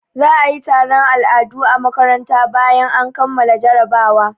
Za a yi taron al'adu a makaranta bayan an kammala jarabawa.